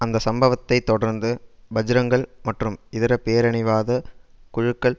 அந்த சம்பவத்தை தொடர்ந்து பஜ்ரங்தள் மற்றும் இதர பேரினவாத குழுக்கள்